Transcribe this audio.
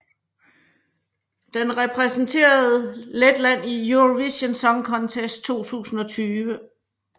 Den repræsenterer Letland i Eurovision Song Contest 2020